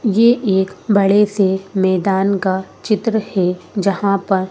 ये एक बड़े से मैदान का चित्र हैं जहाँ पर--